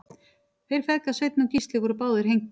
þeir feðgar sveinn og gísli voru báðir hengdir